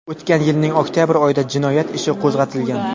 O‘tgan yilning oktabr oyida jinoyat ishi qo‘zg‘atilgan.